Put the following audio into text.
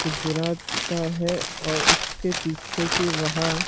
गुजरात का है और उसके पीछे की वहां--